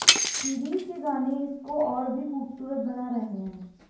series के गानें इसको और भी खूबसूरत बना रहे हैं